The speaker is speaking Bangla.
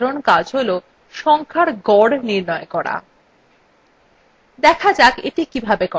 spreadsheet আরেকটি সাধারণ কাজ হল সংখ্যার গড় নির্ণয় করা